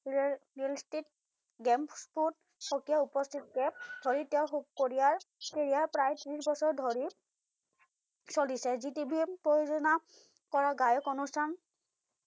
দিলষ্টিত গেমচ ফুত স্ককীয়া উপস্থিতিকে ধৰি তেওঁৰ career প্ৰায় ত্ৰিশ বছৰ ধৰি চলিছে, zee TV ৰ প্ৰযোজনা কৰা গায়ক অনুস্থান